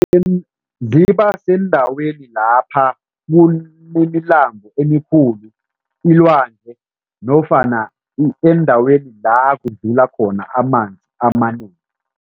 Ziba sendaweni lapha kunemilambo emikhulu, ilwandle nofana eendaweni la kudlula khona amanzi amanengi.